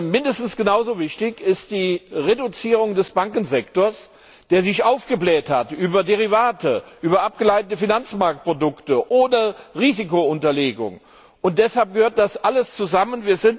Mindestens genauso wichtig ist die Reduzierung des Bankensektors, der sich aufgebläht hat über Derivate, über abgeleitete Finanzmarktprodukte, ohne Risikounterlegung. Deshalb gehört das alles zusammen.